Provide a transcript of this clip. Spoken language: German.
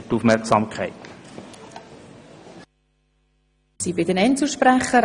Das Wort haben die Einzelsprecherinnen und sprecher.